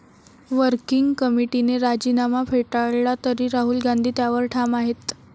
Working कमिटीने राजीनामा फेटाळला तरी राहुल गांधी त्यावर ठाम आहेत.